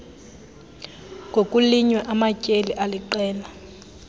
kokulinywa amatyeli aliqela